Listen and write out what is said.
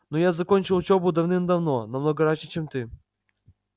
но я закончил учёбу давным-давно намного раньше чем ты